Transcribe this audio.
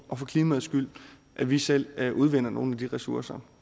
og for klimaets skyld at vi selv udvinder nogen af de ressourcer